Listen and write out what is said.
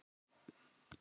Það vissu það allir.